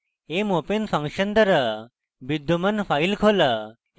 mopen function দ্বারা বিদ্যমান file খোলা এবং